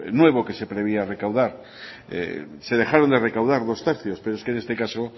nuevo que se preveía recaudar se dejaron de recaudar dos tercios pero es que en este caso